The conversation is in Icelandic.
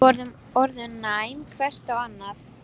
Við vorum orðin næm hvert á annað.